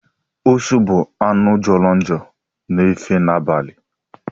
Ụsụ bụ anụ jọrọ njọ na-efe n'abalị.